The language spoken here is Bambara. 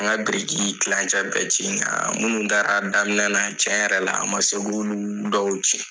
An ka biriki kilancɛ bɛɛ na munnu taara daminɛ na tiɲɛ yɛrɛ la a man se ka olu dɔw ci.